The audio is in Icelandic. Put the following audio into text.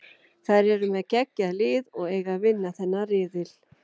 Þær eru með geggjað lið og eiga að vinna þennan riðil.